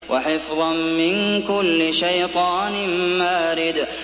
وَحِفْظًا مِّن كُلِّ شَيْطَانٍ مَّارِدٍ